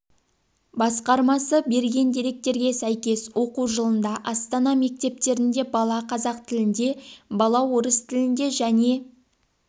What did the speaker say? басқармасы берген деректерге сәйкес оқу жылында астана мектептерінде бала қазақ тілінде бала орыс тілінде және